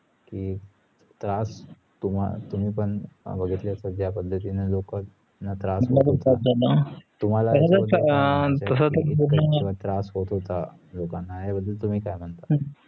की त्रास तुम तुम्ही पण बघितला असेल जा पद्धतींनी त्रास त्रास होत होत्या या बदल तुम्ही काय म्हणता